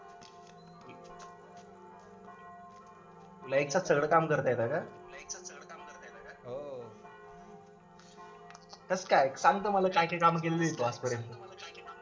तुला एक साथ सगळं काम करता येतं का कसं काय सांगतू मला काय काय काम केलेले आहे आजपर्यंत